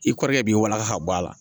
I kɔrɔkɛ b'i waraka k'a bɔ a la